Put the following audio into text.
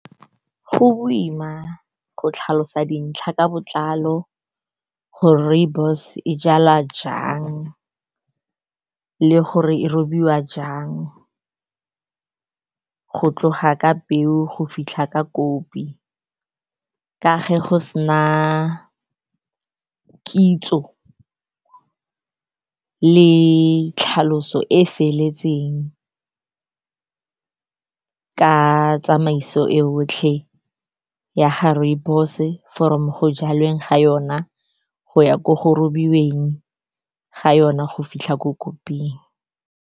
Go boima go tlhalosa dintlha ka botlalo gore rooibos e jalwa jang le gore e robiwa jang, go tloga ka peo go fitlha ka kopi, ka ge go sena kitso le tlhaloso e feletseng ka tsamaiso e yotlhe ya ga rooibos-e, from go jalweng ga yona, go ya ko go robiweng ga yona, go fitlha ko koping.